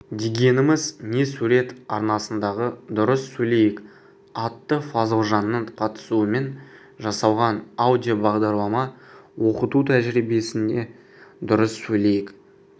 дегеніміз не сурет арнасындағы дұрыс сөйлейік атты фазылжанның қатысуымен жасалған аудиобағдарлама оқыту тәжірибесінде дұрыс сөйлейік